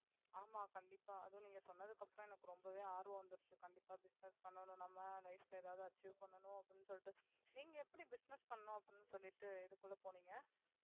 ஆமா கண்டிப்பா அதும் நீங்க சொன்னதுக்கு அப்புறம் எனக்கு ரொம்பவே ஆர்வம் வந்திச்சு. கண்டிப்பா business பண்ணனும் bife ல எதாவது achieve பண்ணணும்ன்னு அப்படினு சொல்லிட்டு. நீங்க எப்படி business பண்ணனும்னு அப்படினு சொல்லிட்டு இதுக்குள்ள போனீங்க